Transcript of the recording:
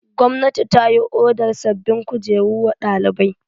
Gwamnati ta yi odar sabbin kujeru wa ɗalibai.